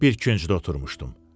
Bir küncdə oturmuşdum.